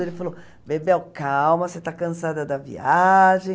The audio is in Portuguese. Ele falou, Bebel, calma, você está cansada da viagem.